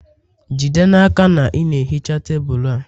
Jide n'aka na ị na-ehicha tebụl a